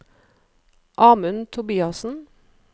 Amund Tobiassen